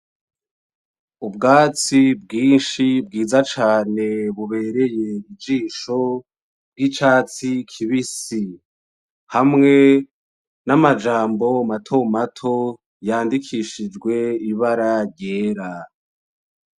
Ubwatsi bwinshi bwiza cane bubereye ijisho, bw'icatsi kibisi. hamwe n'amajambo matomatoma yandikishijwe n'ibara ryera.